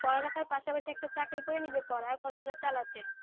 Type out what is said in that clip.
পড়া লেখার পাশাপাশি একটা চাকরি করে নিলে পরার খরচা টা চালাতে।